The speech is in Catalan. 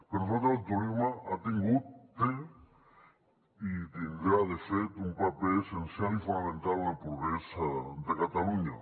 per nosaltres el turisme ha tingut té i tindrà de fet un paper essencial i fonamental en el progrés de catalunya